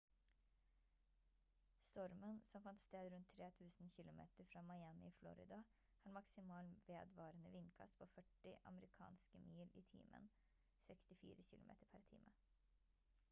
stormen som fant sted rundt 3 000 kilometer fra miami i florida har maksimal vedvarende vindkast på 40 amerikanske mil i timen 64 km/t